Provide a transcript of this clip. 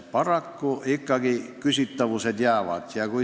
Paraku ikkagi küsitavused jäävad.